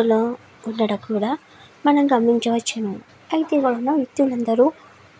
అయితే ఇక్కడ కూడా మనం గమనించవచ్చును. అయితే ఇక్కడ వాళ్ళు